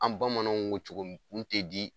An bamananw ko cogo min kun tɛ di